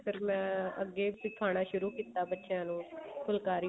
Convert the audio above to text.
ਪਰ ਮੈਂ ਅੱਗੇ ਸਿਖਾਉਣਾ ਸ਼ੁਰੂ ਕੀਤਾ ਬੱਚਿਆਂ ਨੂੰ ਫੁਲਕਾਰੀ